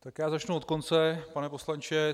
Tak já začnu od konce, pane poslanče.